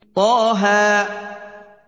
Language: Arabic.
طه